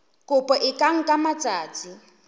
kopo e ka nka matsatsi